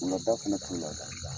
Wulada fana kile la k'a n da.